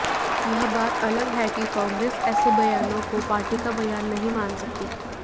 यह बात अलग है कि कांग्रेस ऐसे बयानों को पार्टी का बयान नहीं मान सकती